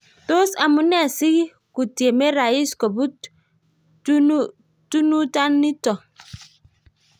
Tos amune si kutieme rais koput tonunatanitok?